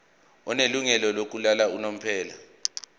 onelungelo lokuhlala unomphela